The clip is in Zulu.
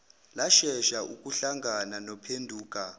lashesha ukuhlangana nophenduka